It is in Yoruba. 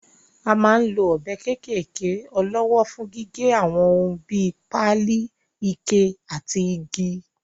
A máa ń lo ọ̀bẹ kéékèké ọlọ́wọ́ fún gígé àwọn ohun bíi; páálí, ike àti igi.